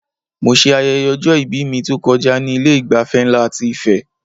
Mo ṣe ayẹyẹ ọjọ-ìbí mi tó kọjá ní Ilé ìgbafẹ́ nlá ti Ife